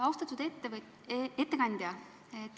Austatud ettekandja!